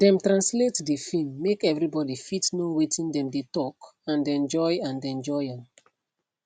dem translate the film make everyone fit know watin dem dey talk and enjoy and enjoy am